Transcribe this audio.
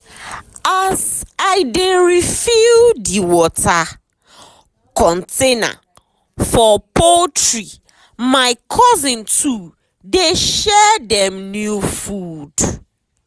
as i dey refill the water container for poultrymy cousin too dey share dem new food.